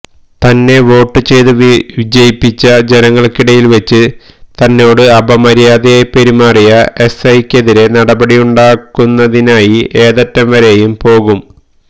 തന്നെ വോട്ട് ചെയ്ത് വിജയിപ്പിച്ച ജനങ്ങൾക്കിടയിൽവെച്ച് തന്നോട് അപമര്യാദയായി പെരുമാറിയ എസ് ഐ ക്കെതിരെ നടപടിയുണ്ടാകുന്നതിനായി ഏതറ്റംവരയെും പോകും